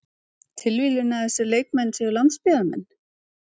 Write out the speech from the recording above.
Tilviljun að þessir leikmenn séu landsbyggðarmenn?